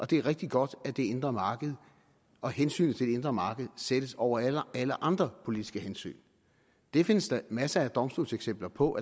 det er rigtig godt at det indre marked og hensynet til det indre marked sættes over alle andre politiske hensyn det findes der masser af domstolseksempler på